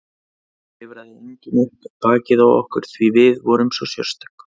Það klifraði enginn upp bakið á okkur því við vorum svo sérstök.